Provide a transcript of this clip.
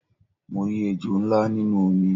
Mo rí ejò ńlá nínú omi